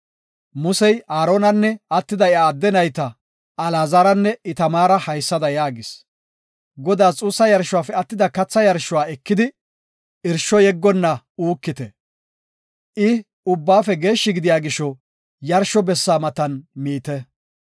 Musey Aaronanne attida iya adde nayta Alaazaranne Itamaara haysada yaagis; Godaas xuussa yarshuwafe attida katha yarshuwa ekidi irsho yeggonna uukite. I ubbaafe geeshshi gidiya gisho yarsho bessaa matan miite.